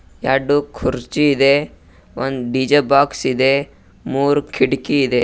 ಎರ್ಡು ಕುರ್ಚಿದೆ ಒಂದ್ ಡಿ_ಜೆ ಬಾಕ್ಸ್ ಇದೆ ಮೂರ್ ಕಿಟಕಿ ಇದೆ.